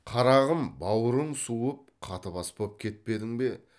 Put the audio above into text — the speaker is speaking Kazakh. қарағым бауырың суып қатыбас боп кетпедің бе